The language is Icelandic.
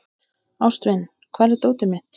Ástvin, hvar er dótið mitt?